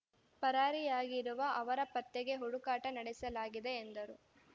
ಪರಾರಿಯಾಗಿರುವ ಅವರ ಪತ್ತೆಗೆ ಹುಡುಕಾಟ ನಡೆಸಲಾಗಿದೆ ಎಂದರು